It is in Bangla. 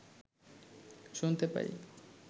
শুনতে পাই